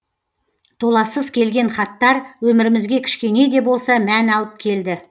толассыз келген хаттар өмірімізге кішкене де болса мән алып келді